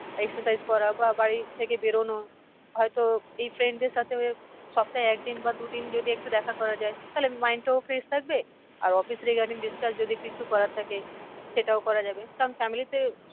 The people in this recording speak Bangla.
Exercise করা বা বাড়ি থেকে বেরোনো। হয় তো এই friend দের সাথে সপ্তায় একদিন বা দু দিন যদি একটু দেখা করা যায় তাহলে mind টাও fresh থাকবে। আর office এর regarding discuss যদি কিছু করার থাকে সেটাও করা যাবে কারণ family তে